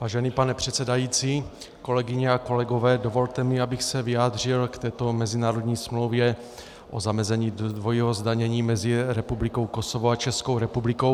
Vážený pane předsedající, kolegyně a kolegové, dovolte mi, abych se vyjádřil k této mezinárodní smlouvě o zamezení dvojímu zdanění mezi Republikou Kosovo a Českou republikou.